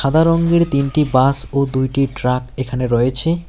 সাদা রঙ্গের তিনটি বাস ও দুইটি ট্রাক এখানে রয়েছে।